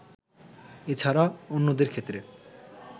এছাড়া অন্যদেরক্ষেত্রে